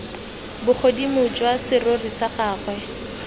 bogodimo jwa serori sa gagwe